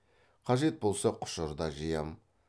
қажет болса құшыр да жиям